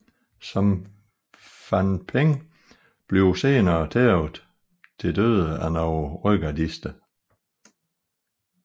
Song Fanping bliver senere tævet til døde af nogle rødgardister